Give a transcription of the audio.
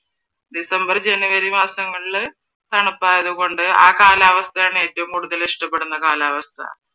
january, january മാസങ്ങളില് തണുപ്പായത്‌ കൊണ്ട് ആ കാലാവസ്ഥയാണ് ഏറ്റവും കൂടുതൽ ഇഷ്ട്ടപ്പെടുന്ന കാലാവസ്ഥ.